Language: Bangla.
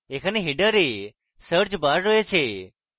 এখানে header এ search bar রয়েছে